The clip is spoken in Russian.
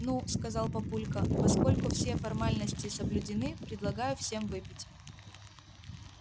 ну сказал папулька поскольку все формальности соблюдены предлагаю всем выпить